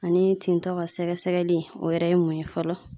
Ani tintɔ ka sɛgɛsɛli o yɛrɛ ye mun ye fɔlɔ